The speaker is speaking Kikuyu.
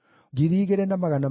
na cia Bani ciarĩ 642,